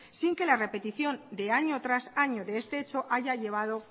sin que la repetición de año tras año de este hecho haya llevado